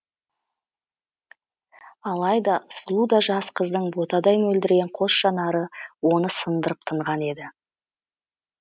алайда сұлу да жас қыздың ботадай мөлдіреген қос жанары оны сындырып тынған еді